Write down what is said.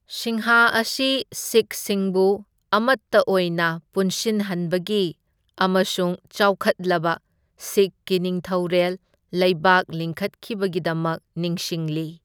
ꯁꯤꯡꯍ ꯑꯁꯤ ꯁꯤꯈꯁꯤꯡꯕꯨ ꯑꯃꯠꯇ ꯑꯣꯏꯅ ꯄꯨꯟꯁꯤꯟꯍꯟꯕꯒꯤ ꯑꯃꯁꯨꯡ ꯆꯥꯎꯈꯠꯂꯕ ꯁꯤꯈꯀꯤ ꯅꯤꯡꯊꯧꯔꯦꯜ ꯂꯩꯕꯥꯛ ꯂꯤꯡꯈꯠꯈꯤꯕꯒꯤꯗꯃꯛ ꯅꯤꯡꯁꯤꯡꯂꯤ꯫